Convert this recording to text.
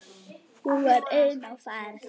Hún var ein á ferð.